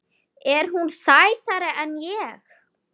Er hún sætari en ég?